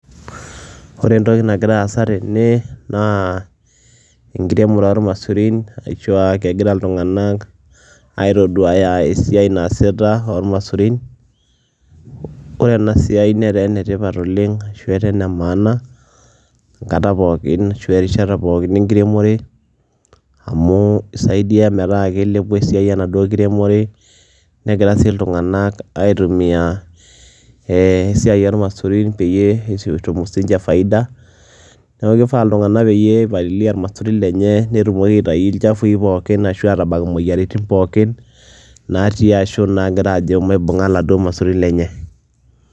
Ore entoki nagira aasa tene naa enkiremore ormaisurin ashu aa kegira iltung'anak aitoduaya esiai naasita ormaisurin. Kore ena siai netaa ene tipat oleng' ashu etaa ene maana enkata pookin ashu erishata pookin enkiremore amu isaidia metaa kilepu esiai enaduo kiremore negira sii iltung'anak aitumia ee esiai ormaisurin peyie etum siinje faida. Neeku kifaa peyie ipalilia irmaisurin lenye netumoki aitayu ilchafui pookin ashu aatabak moyiaritin pookin natii ashu naagira ajo maibung'a laduo maisurin lenye.